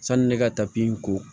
Sanni ne ka tapi in ko